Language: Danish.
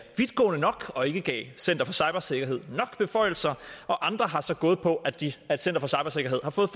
vidtgående nok og ikke gav center for cybersikkerhed nok beføjelser og andre har så gået på at center for cybersikkerhed har fået